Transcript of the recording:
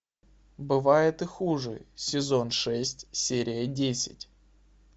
бывает и хуже сезон шесть серия десять